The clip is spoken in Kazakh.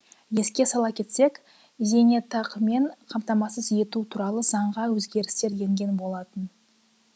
еске сала кетсек зейнетақымен қамтамасыз ету туралы заңға өзгерістер енген болатын